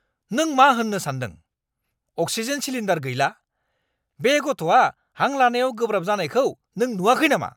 नों मा होन्नो सानदों? अक्सिजेन सिलिन्डार गैला! बे गथ'आ हां लानायाव गोब्राब जानायखौ नों नुवाखै नामा?